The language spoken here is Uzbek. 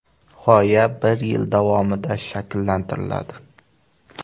G‘oya bir yil davomida shakllantiriladi.